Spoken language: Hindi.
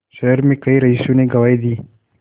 शहर में कई रईसों ने गवाही दी